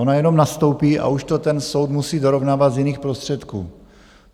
Ona jenom nastoupí a už to ten soud musí dorovnávat z jiných prostředků.